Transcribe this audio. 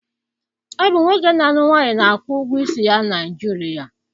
Ọ bụ nwoke na alụ nwunye na akwụ ụgwọ isi ya Naijiria